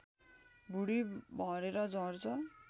भुँडी भरेर झर्छ